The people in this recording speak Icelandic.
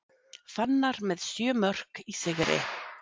Fannar með sjö mörk í sigri